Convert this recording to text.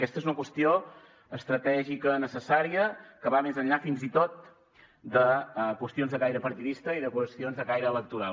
aquesta és una qüestió estratègica necessària que va més enllà fins i tot de qüestions de caire partidista i de qüestions de caire electoral